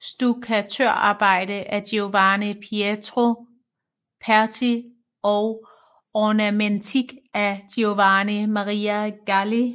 stukkatørarbejde af Giovanni Pietro Perti og ornamentik af Giovanni Maria Galli